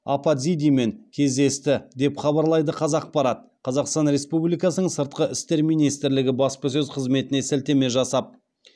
апатзидимен кездесті деп хабарлайды қазақпарат қазақстан республикасының сыртқы істер министрлігі баспасөз қызметіне сілтеме жасап